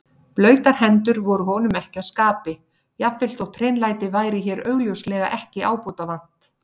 Blautar hendur voru honum ekki að skapi, jafnvel þótt hreinlæti væri hér augljóslega ekki ábótavant.